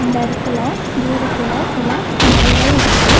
இந்த எடத்துல தூரத்துல சில மலைகள் இருக்கு.